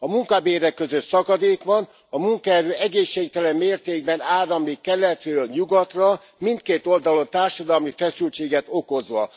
A munkabérek között szakadék van, a munkaerő egészségtelen mértékben áramlik keletről nyugatra, mindkét oldalon társadalmi feszültséget okozva.